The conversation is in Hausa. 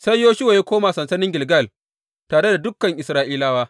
Sai Yoshuwa ya koma sansanin Gilgal tare da dukan Isra’ilawa.